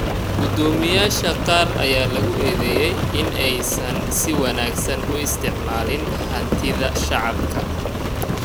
Gudoomiyaasha qaar ayaa lagu eedeeyay in aysan si wanaagsan u isticmaalin hantida shacabka.